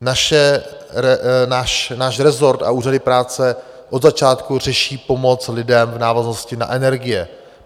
Náš resort a úřady práce od začátku řeší pomoc lidem v návaznosti na energie.